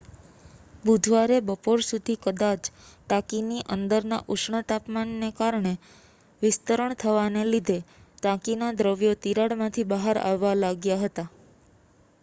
બુધવારે બપોર સુધી કદાચ ટાંકીની અંદરના ઉષ્ણતામાનને કારણે વિસ્તરણ થવાને લીધે ટાંકીના દ્રવ્યો તિરાડમાંથી બહાર આવવા લાગ્યા હતા